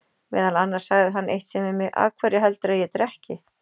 Meðal annars sagði hann eitt sinn við mig: Af hverju heldurðu að ég drekki?